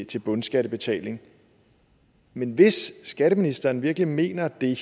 til bundskattebetaling men hvis skatteministeren virkelig mener det